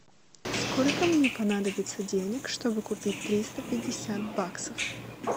сколько мне понадобится денег чтобы купить триста пятьдесят баксов